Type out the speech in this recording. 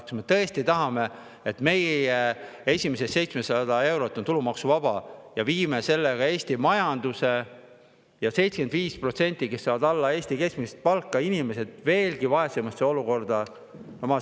Kas me tõesti tahame, et meie esimene 700 eurot oleks tulumaksuvaba, kui viime sellega Eesti majanduse ja 75% inimestest, kes saavad alla Eesti keskmise palga, veelgi vaesemasse olukorda?